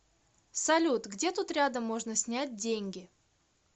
салют где тут рядом можно снять деньги